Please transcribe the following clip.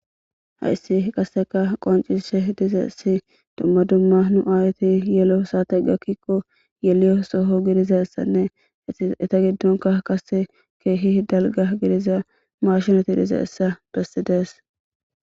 hayssi qaseka qoncishe dizaessi dumma dumma nu aayeti yelo saate gakkikko yeliyo soho gidizassanne ita giddonka kase keehi dalga gidiza maashinoti diza essa bessidees